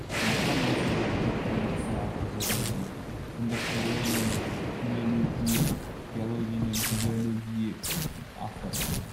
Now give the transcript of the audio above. сондықтан ол сөздерді тек төл дыбыстар арқылы жазамыз дейді сонда филологияны пійләлөгүйе биологияны бійәлөгүйе автор